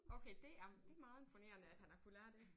Okay det er det meget imponerende at han har kunne lære det